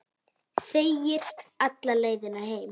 Þegir alla leiðina heim.